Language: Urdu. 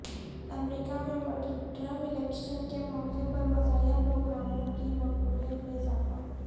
امریکہ میں مڈٹرم الیکشن کے موقع پر مزاحیہ پروگراموں کی مقبولیت میں اضافہ